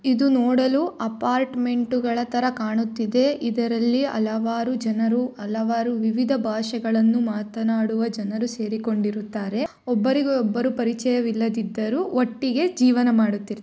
ಇದು ನೋಡಲು ಅಪಾರ್ಟುಮೆಂಟುಗಳ ತರ ಕಾಣುತ್ತಿದೆ ಇದರಲ್ಲಿ ಹಲವಾರು ಜನರು ಹಲವಾರು ವಿವಿಧ ಭಾಷೆ ಗಳನ್ನು ಮಾತನಾಡುವ ಜನರು ಸೇರಿಕೊಂಡಿರುತ್ತಾರೆ ಒಬ್ಬರಿಗೆ ಒಬ್ಬರು ಪರಿಚಯ ವಿಲ್ಲದಿದ್ದರು ಒಟ್ಟಿಗೆ ಜೀವನ ಮಾಡುತ್ತಿರು --